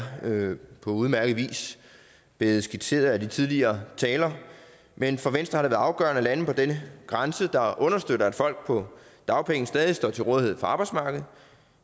på udmærket vis blevet skitseret af den tidligere taler men for venstre har det været afgørende at lande på den grænse der understøtter at folk på dagpenge stadig står til rådighed for arbejdsmarkedet